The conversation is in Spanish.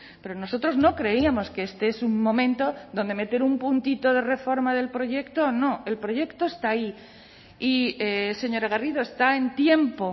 pero nosotros no creíamos que este es un momento donde meter un puntito de reforma del proyecto no el proyecto está ahí y señora garrido está en tiempo